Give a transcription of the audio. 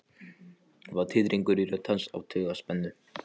Það var titringur í rödd hans af taugaspennu.